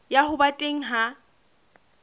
ya ho ba teng ha